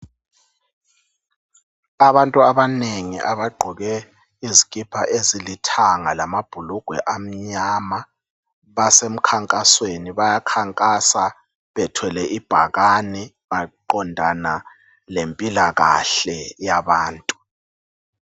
Abantu abanengi abagqoke izikipa ezilithanga lamabhulugwe amnyama basemkhankasweni bayakhankasa bethwele ibhakane maqondana lempilakahle yabantu